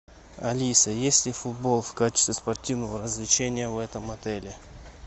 алиса есть ли футбол в качестве спортивного развлечения в этом отеле